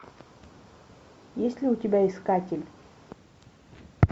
есть ли у тебя искатель